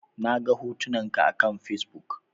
Naga hotunan ka akan Fesbuk